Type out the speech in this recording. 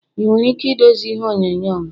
Ị nwere ike idozi ihe onyonyo m?